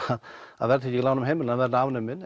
að verðtrygging í lánum heimila verði afnumin